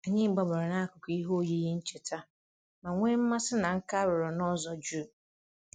Anyị gbabara n'akụkụ ihe oyiyi ncheta ma nwee mmasị na nka a rụrụ n'ụzọ jụụ. um